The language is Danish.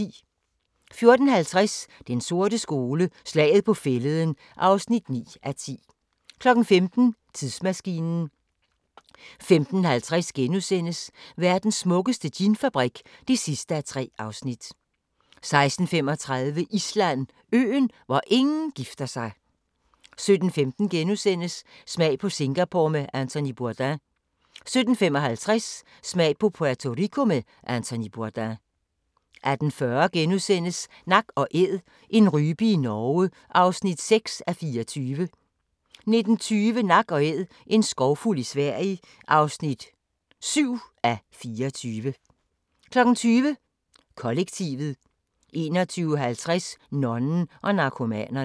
14:50: Den sorte skole: Slaget på Fælleden (9:10) 15:00: Tidsmaskinen 15:50: Verdens smukkeste ginfabrik (3:3)* 16:35: Island: Øen, hvor ingen gifter sig 17:15: Smag på Singapore med Anthony Bourdain * 17:55: Smag på Puerto Rico med Anthony Bourdain 18:40: Nak & Æd - en rype i Norge (6:24)* 19:20: Nak & æd - en skovfugl i Sverige (7:24) 20:00: Kollektivet 21:50: Nonnen og Narkomanerne